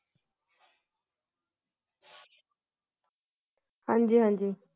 ਹਾਂਜੀ-ਹਾਂਜੀ